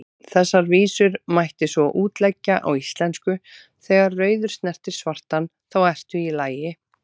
Þessar vísur mætti svo útleggja á íslensku: Þegar rauður snertir svartan, þá ertu í lagi,